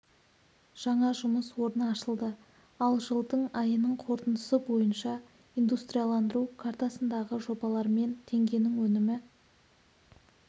жаңа жұмыс орны ашылды ал жылдың айының қорытындысы бойынша индустриаландыру картасындағы жобалармен теңгенің өнімі